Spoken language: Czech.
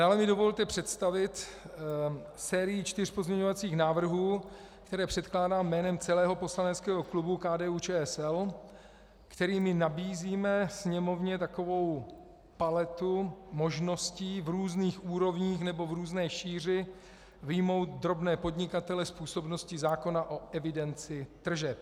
Dále mi dovolte představit sérii čtyř pozměňovacích návrhů, které předkládám jménem celého poslaneckého klubu KDU-ČSL, kterými nabízíme Sněmovně takovou paletu možností v různých úrovních nebo v různé šíři vyjmout drobné podnikatele z působnosti zákona o evidenci tržeb.